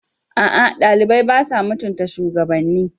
A'a, ɗalibai ba sa mutunta shugabanni.